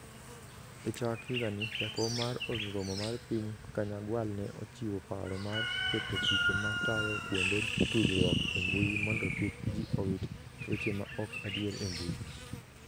E chak higani, Jakom mar Od Romo mar Piny Kanyagwal ne ochiwo paro mar keto chike ma tayo kuonde tudruok e mbui mondo kik ji owit weche ma ok adier e mbui.